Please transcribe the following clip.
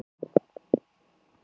Það má vel vera að